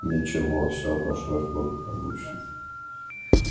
ничего все обошлось благополучно